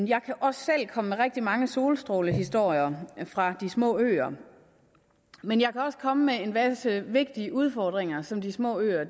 jeg kan også selv komme med rigtig mange solstrålehistorier fra de små øer men jeg kan også komme med en masse vigtige udfordringer som de små øer